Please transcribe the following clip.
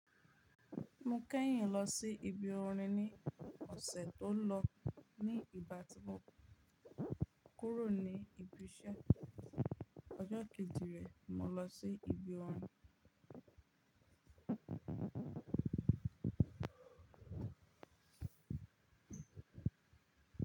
Mo kẹ́yìn lọ sí ibi orin ní ọ̀sẹ̀ tó lọ ní ìgbà tí mo kúrò ní ibi iṣẹ́. Ọjọ́ kejì rẹ mo lọ sí ibi orin.